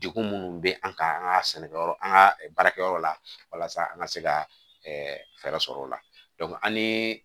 Degun minnu bɛ an kan an ka sɛnɛkɛyɔrɔ an ka baarakɛyɔrɔ la walasa an ka se ka fɛɛrɛ sɔrɔ o la an ni